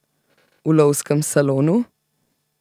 V lovskem salonu?